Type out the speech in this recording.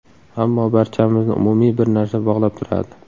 Ammo, barchamizni umumiy bir narsa bog‘lab turadi.